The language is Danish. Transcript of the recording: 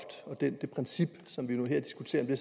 og det princip som vi nu diskuterer